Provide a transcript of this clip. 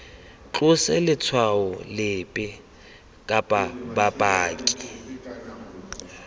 tlose letshwao lepe kana bopaki